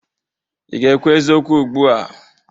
Ị ga-ekwu eziokwu ugbu a?